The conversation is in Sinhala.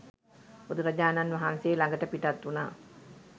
බුදුරජාණන් වහන්සේ ළඟට පිටත් වුනා.